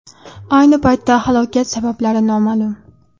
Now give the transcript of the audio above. Ayni paytda halokat sabablari noma’lum.